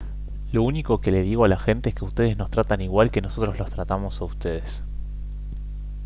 lo único que le digo a la gente es que ustedes nos tratan igual que nosotros los tratamos a ustedes